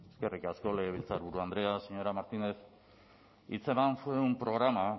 eskerrik asko legebiltzarburu andrea señora martínez hitzeman fue un programa